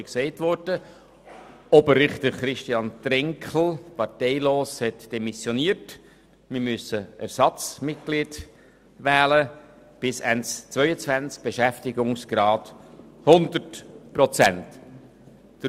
Der parteilose Oberrichter Christian Trenkel hat demissioniert, und wir müssen für die Amtszeit bis Ende 2022 ein Ersatzmitglied mit einem Beschäftigungsgrad von 100 Prozent wählen.